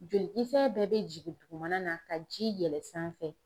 Jolikisɛ bɛɛ be jigin dugumana na ka ji yɛlɛ sanfɛ